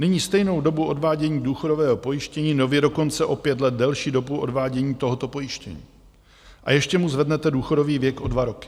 Nyní stejnou dobu odvádění důchodového pojištění, nově dokonce o pět let delší dobu odvádění tohoto pojištění, a ještě mu zvednete důchodový věk o dva roky?